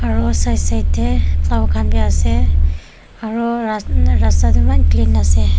aro side side teh flower kan be ase aro ras rasta toh eman clean ase.